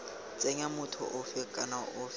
tsenya motho ofe kana ofe